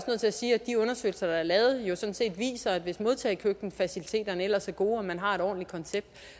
til at sige at de undersøgelser der er lavet jo sådan set viser at hvis modtagekøkkenfaciliteterne ellers er gode og man har et ordentligt koncept